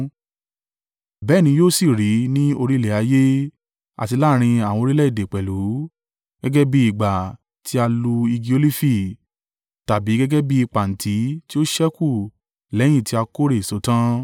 Bẹ́ẹ̀ ni yóò sì rí ní orí ilẹ̀ ayé àti láàrín àwọn orílẹ̀-èdè pẹ̀lú, gẹ́gẹ́ bí ìgbà tí a lu igi olifi, tàbí gẹ́gẹ́ bí i pàǹtí tí ó ṣẹ́kù lẹ́yìn tí a kórè èso tán.